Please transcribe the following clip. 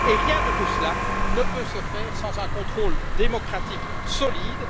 Rien de tout cela ne peut se faire sans un contrôle démocratique solide.